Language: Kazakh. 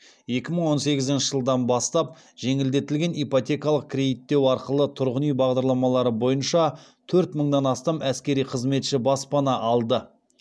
екі мың он сегізінші жылдан бастап жеңілдетілген ипотекалық кредиттеу арқылы тұрғын үй бағдарламалары бойынша төрт мыңнан астам әскери қызметші баспана алды